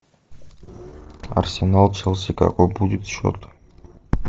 арсенал челси какой будет счет